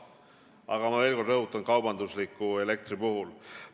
Aga ma veel kord rõhutan: see on nii kaubandusliku elektri puhul.